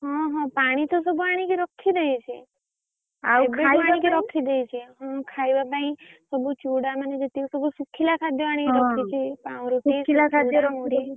ହଁ ହଁ ପାଣି ତ ସବୁ ଆଣିକି ରଖିଦେଇଛି ଖାଇବା ପାଇଁ ସବୁ ଚୂଡା ମାନେ ଯେତିକି ସବୁ ଶୁଖିଲା ଖାଦ୍ଯ ଆଣିକି ରଖିଛି ପାଉଁରୁଟି ଚୂଡା ମୁଡି